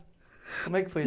Como é que foi?